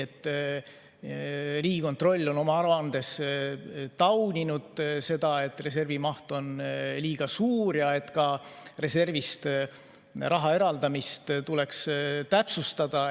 Riigikontroll on oma aruandes tauninud seda, et reservi maht on liiga suur, ja öelnud, et reservist raha eraldamist tuleks täpsustada.